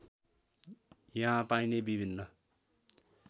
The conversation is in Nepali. यहाँ पाइने विभिन्न